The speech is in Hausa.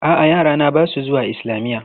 A'a, yarana ba su zuwa islamiyya.